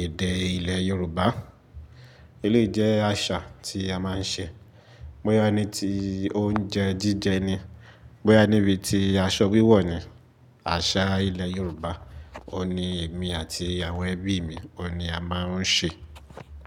èdè ilẹ̀ Yorùbá. Eléyi jẹ́ àṣà tí a máa ń ṣe. Boyá ní ti oúnjẹ jíjẹ ni. Boyá níbi tí aṣọ wíwọ̀ ni. Àṣà ilẹ̀ Yorùbá, òun ni èmi àti àwọn ẹbí mi, òun ni a máa ń ṣe.